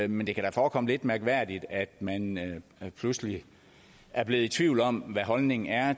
men det kan da forekomme lidt mærkværdigt at man pludselig er blevet i tvivl om hvad holdningen er